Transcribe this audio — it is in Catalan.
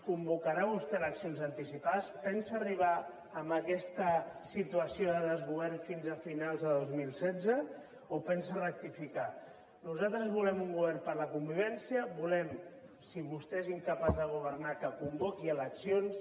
convocarà vostè eleccions anticipades pensa arribar amb aquesta situació de desgovern fins a finals de dos mil setze o pensa rectificar nosaltres volem un govern per la convivència volem si vostè és incapaç de governar que convoqui eleccions